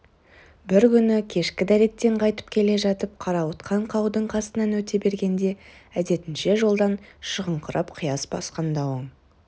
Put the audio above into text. бір күні кешкі дәреттен қайтып келе жатып қарауытқан қаудың қасынан өте бергенде әдетінше жолдан шығыңқырап қияс басқанда оң